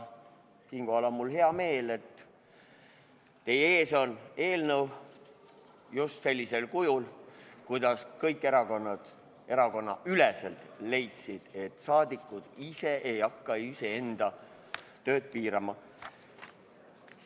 Siinkohal on mul hea meel, et teie ees on eelnõu just sellisel kujul, nagu kõik erakondadeüleselt leidsid, et saadikud ise ei hakka oma tööd piirama.